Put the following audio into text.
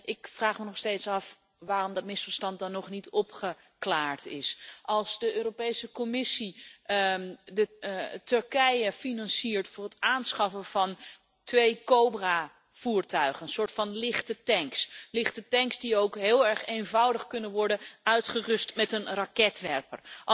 Ik vraag me nog steeds af waarom dat misverstand dan nog niet opgeklaard is als de Europese Commissie Turkije financiert voor het aanschaffen van twee Cobra voertuigen, een soort lichte tanks die ook heel erg eenvoudig kunnen worden uitgerust met een raketwerper.